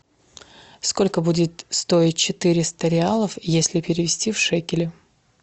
сколько будет стоить четыреста реалов если перевести в шекели